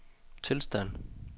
tilstand